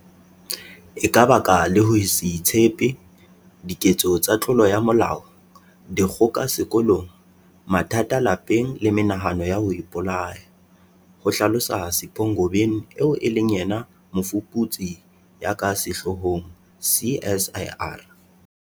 E ka baka le ho se itshepe, diketso tsa tlolo ya molao, dikgoka sekolong, mathata lapeng le menahano ya ho ipolaya, ho hlalosa Sipho Ngobeni eo e leng mofuputsi ya ka sehloohong CSIR.